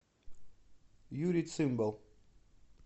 юрий цымбал